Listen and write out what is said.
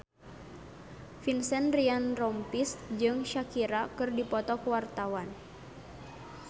Vincent Ryan Rompies jeung Shakira keur dipoto ku wartawan